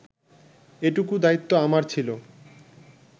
এটুকু দায়িত্ব আমার ছিল